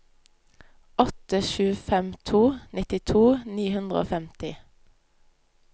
åtte sju fem to nittito ni hundre og femti